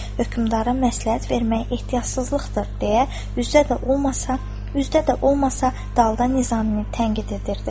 Hökmdara məsləhət vermək ehtiyacsızlıqdır deyə üzdə də olmasa, dalda Nizaminin tənqid edirdi.